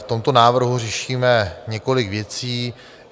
V tomto návrhu řešíme několik věcí.